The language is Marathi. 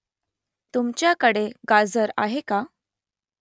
तुमच्याकडे गाजर आहे का ?